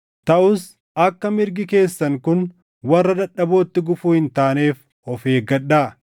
Taʼus akka mirgi keessan kun warra dadhabootti gufuu hin taaneef of eeggadhaa.